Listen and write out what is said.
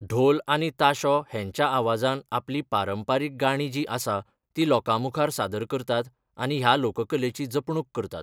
ढोल आनी ताशो हेंच्या आवाजान आपली पारंपरीक गाणी जीं आसा ती लोकां मुखार सादर करतात आनी ह्या लोककलेची जपणूक करतात.